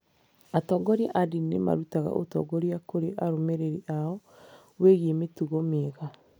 Atongoria a ndini nĩ marutaga ũtongoria kũrĩ arũmĩrĩri ao wĩgiĩ mĩtugo mĩega.